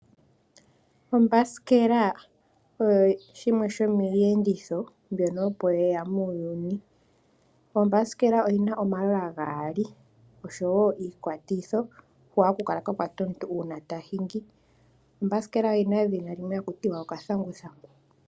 Ombasikela osho shimwe shomiiyenditho mbyono opo yeyamo muuyuni. Ombasikela oyina omalola gaali osho woo iikwatitho hoka haku kala kwakwatwa komuntu uuna tashingi. Ombasikela oyina edhina limwe hakuti okathanguthangu.